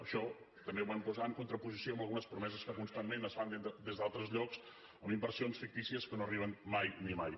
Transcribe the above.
això també ho vam posar en contraposició amb algunes promeses que constantment es fan des d’altres llocs amb inversions fictícies que no arriben mai ni mai